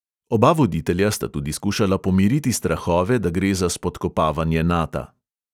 Oba voditelja sta tudi skušala pomiriti strahove, da gre za spodkopavanje nata.